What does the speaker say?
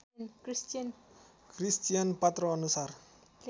Christian पात्रो अनुसार